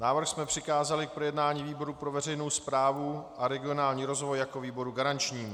Návrh jsme přikázali k projednání výboru pro veřejnou správu a regionální rozvoj jako výboru garančnímu.